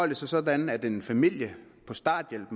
det sig sådan at en familie på starthjælp